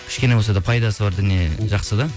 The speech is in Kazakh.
кішкене болса да пайдасы бар дүние жақсы да